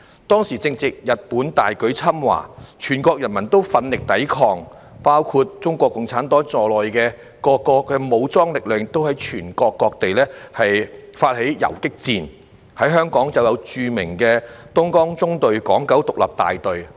當時正值日本大舉侵華，全國人民奮力抵抗，包括中國共產黨在內的各個武裝力量亦在全國各地發起游擊戰，在香港便有著名的東江縱隊港九獨立大隊。